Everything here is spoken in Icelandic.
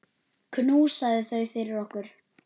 Knúsaðu þau fyrir okkur.